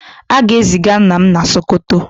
a ga-eziga nna m na Sokoto